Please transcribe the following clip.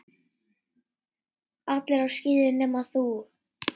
Allir á skíðum nema þú.